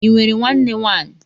Ị nwere nwanne nwaanyị?